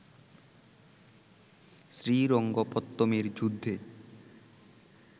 শ্রীরঙ্গপত্তমের যুদ্ধে